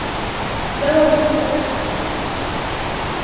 туда вам предстоит отправиться